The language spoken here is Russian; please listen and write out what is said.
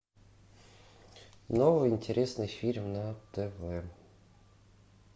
новый интересный фильм на тв